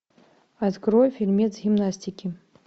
открой фильмец гимнастики